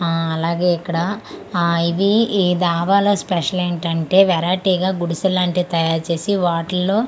ఆహ్ అలాగే ఇక్కడ ఆహ్ ఇది ఈ ధాబా లో స్పెషల్ ఏంటంటే వెరైటీగా గుడిసె లాంటి తయారు చేసి వాటిలో.